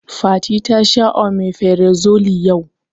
Fati ta sha omeferazole yau